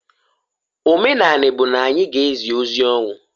Omenani bu na anyi g' ezi ozi ọnwụ.